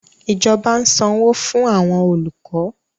Ìjọba ń sanwó fún àwọn olùkọ́